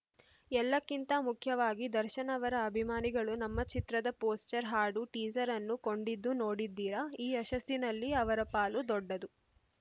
ಎಲ್ಲಕ್ಕಿಂತ ಮುಖ್ಯವಾಗಿ ದರ್ಶನ್‌ ಅವರ ಅಭಿಮಾನಿಗಳು ನಮ್ಮ ಚಿತ್ರದ ಪೋಸ್ಟರ್‌ ಹಾಡು ಟೀಸರ್‌ ಅನ್ನು ಕೊಂಡಿದ್ದು ನೋಡಿದ್ದೀರ ಈ ಯಶಸ್ಸಿನಲ್ಲಿ ಅವರ ಪಾಲು ದೊಡ್ಡದು